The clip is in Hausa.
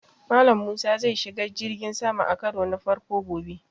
Mallam Musa zai shiga jirgin sama a karo na farko gobe